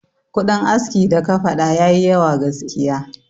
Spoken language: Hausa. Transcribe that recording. Kudin aski da ka faɗa yayi yawa gaskiya.